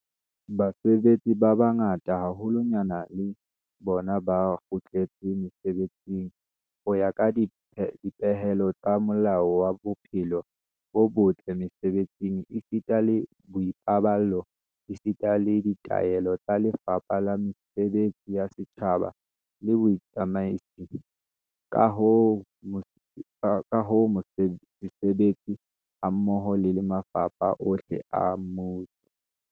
Basebetsi ba bang ba bangata haholwanyane le bona ba kgutletse mesebetsing ho ya ka dipehelo tsa Molao wa Bophelo bo botle Mese-betsing esita le Boipaballo esita le ditaelo tsa Lefapha la Mesebetsi ya Setjhaba le Botsamaisi, ka ho sebetsa hammoho le mafapha ohle a mmuso.